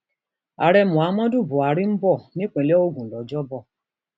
ààrẹ muhammadu buhari ń bọ nípínlẹ ogun lọjọbọ